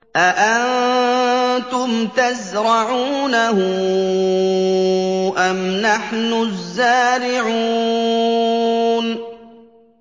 أَأَنتُمْ تَزْرَعُونَهُ أَمْ نَحْنُ الزَّارِعُونَ